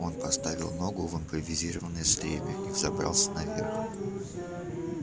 он поставил ногу в импровизированное стремя и взобрался наверх